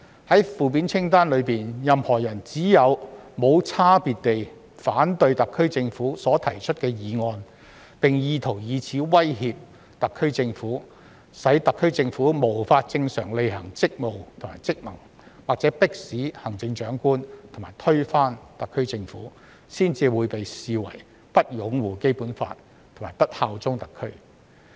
在負面清單中，任何人只有"無差別地反對特區政府提出的議案"，並意圖以此威脅特區政府、使特區政府無法正常履行職務和職能，或迫使行政長官及推翻特區政府，才被視為不擁護《基本法》和不效忠特區。